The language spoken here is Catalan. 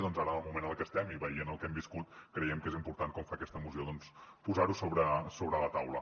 doncs ara en moment en el que estem i veient el que hem viscut creiem que és important com fa aquesta moció posar ho sobre la taula